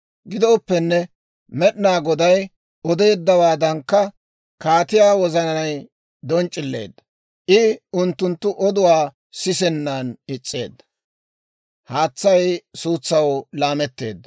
Gidooppenne Med'inaa Goday odeeddawaadankka kaatiyaa wozanay donc'c'ileedda; I unttunttu oduwaa sisennan is's'eedda.